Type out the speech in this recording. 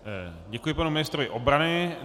Děkuji panu ministrovi obrany.